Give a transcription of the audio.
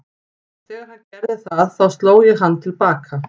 Þegar hann gerði það þá sló ég hann til baka.